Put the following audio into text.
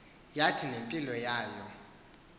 yathi nempilo yayo